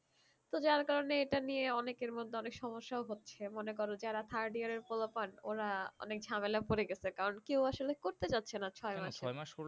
তো যার কারণে এটা নিয়ে অনেকের মধ্যে অনেক সমস্যাও হচ্ছে মনে করো যারা third year এর ওরা অনেক ঝামেলায় পরে গেছে কারণ কেও আসলে করতে চাচ্ছে না ছয় মাসের